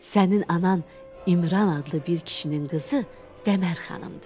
Sənin anan İmran adlı bir kişinin qızı Dəmərxanımdır.